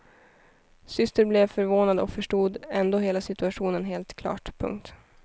Syster blev förvånad och förstod ändå hela situationen helt klart. punkt